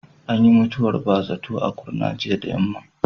Ayyin mutuwar ba zato a Kurna jiya da yammam.